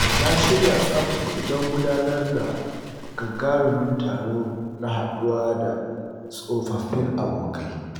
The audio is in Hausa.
Na shirya tsaf don gudanar da gagarumin taro na haɗuwa da tsofaffin abokai.